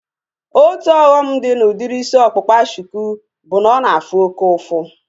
Otu ọghọm dị na udiri isi ọkpụkpa shuku bụ na ọ na-afụ oke ụfụ